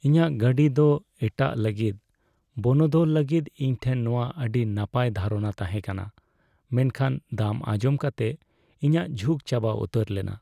ᱤᱧᱟᱹᱜ ᱜᱟᱹᱰᱤ ᱫᱚ ᱮᱟᱴᱟᱜ ᱞᱟᱹᱜᱤᱫ ᱵᱚᱱᱚᱫᱚᱞ ᱞᱟᱹᱜᱤᱫ ᱤᱧ ᱴᱷᱮᱱ ᱱᱚᱶᱟ ᱟᱹᱰᱤ ᱱᱟᱯᱟᱭ ᱫᱷᱟᱨᱚᱱᱟ ᱛᱟᱦᱮᱸ ᱠᱟᱱᱟ, ᱢᱮᱱᱠᱷᱟᱱ ᱫᱟᱢ ᱟᱸᱡᱚᱢ ᱠᱟᱛᱮ, ᱤᱧᱟᱹᱜ ᱡᱷᱩᱠ ᱪᱟᱵᱟ ᱩᱛᱟᱹᱨ ᱞᱮᱱᱟ ᱾